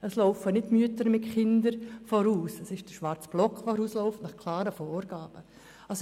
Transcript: Es sind nicht die Mütter mit ihren Kindern, die vorausmarschieren, sondern der schwarze Block, der dies nach klaren Vorgaben tut.